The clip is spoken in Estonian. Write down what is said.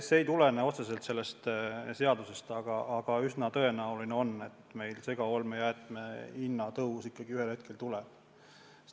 See ei tulene otseselt sellest seadusest, aga üsna tõenäoline on, et meil segaolmejäätmete hinna tõus ikkagi ühel hetkel tuleb.